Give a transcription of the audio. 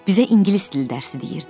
Bizə ingilis dili dərsi deyirdi.